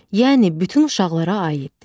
Yəni bütün uşaqlara aiddir.